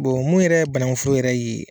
mun yɛrɛ ye banakun foro yɛrɛ ye